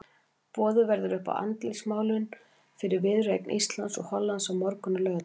Boðið verður upp á andlitsmálun fyrir viðureign Íslands og Hollands á morgun á Laugardalsvelli.